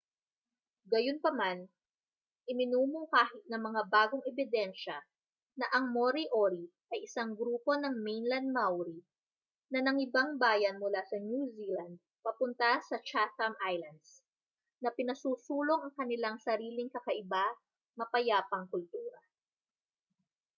gayunpaman iminumungkahi ng mga bagong ebidensya na ang moriori ay isang grupo ng mainland maori na nangibang-bayan mula sa new zealand papunta sa chatham islands na pinasusulong ang kanilang sariling kakaiba mapayapang kultura